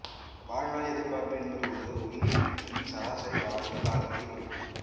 வாழ்நாள் எதிர்பார்ப்பு என்பது ஒரு உயிரினத்தின் சராசரி வாழும் காலத்தைக் குறிக்கும்